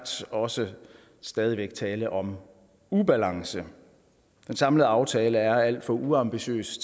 også stadig væk tale om ubalance den samlede aftale er alt for uambitiøs